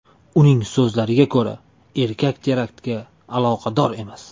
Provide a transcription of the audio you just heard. Uning so‘zlariga ko‘ra, erkak teraktga aloqador emas.